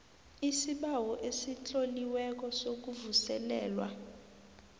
isibawo esitloliweko sokuvuselelwa